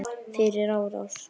Fyrir árás?